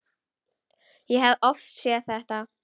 Ég hef oft séð þetta.